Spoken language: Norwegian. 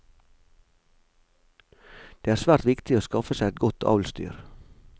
Det var svært viktig å skaffe seg et godt avlsdyr.